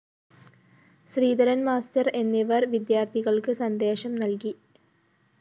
ശ്രീധരന്‍ master എന്നിവര്‍ വിദ്യാര്‍ത്ഥികള്‍ക്ക് സന്ദേശ നല്‍കി